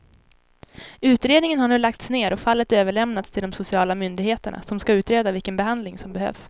Utredningen har nu lagts ner och fallet överlämnats till de sociala myndigheterna som ska utreda vilken behandling som behövs.